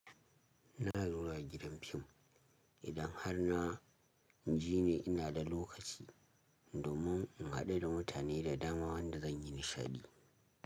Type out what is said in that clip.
Na lura gidan fim idan har na je ni ina da lokaci domin in haɗu da mutane da dama wanda zan yi nishaɗi.